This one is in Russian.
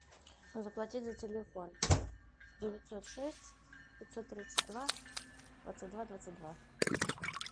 заплатить за телефон девятьсот шесть пятьсот тридцать два двадцать два двадцать два